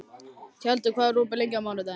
Tjaldur, hvað er opið lengi á mánudaginn?